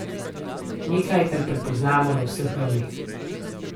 Nekaj, kar prepoznamo na vseh ravneh.